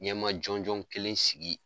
Ɲɛma jɔnjɔnɔ kelen sigi